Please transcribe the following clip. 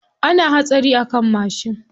Ana hatsari a kan mashin.